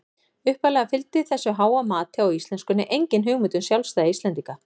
Upphaflega fylgdi þessu háa mati á íslenskunni engin hugmynd um sjálfstæði Íslendinga.